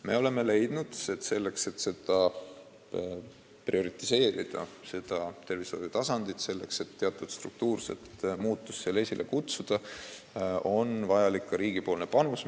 Me oleme siiski leidnud, et kui me soovime sellel tervishoiutasandil teatud struktuurset muutust esile kutsuda, siis on vajalik ka riigipoolne panus.